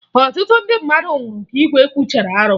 Ọtụtụ ndị mmadụ nwụrụ ka igwe kwuchara arụ